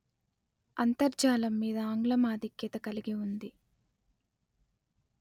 అంతర్జాలం మీద ఆంగ్లం ఆధిక్యత కలిగి ఉంది